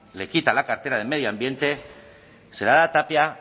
le quita la cartera de medio ambiente se la da a tapia